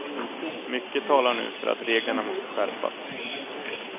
Mycket talar nu för att reglerna måste skärpas.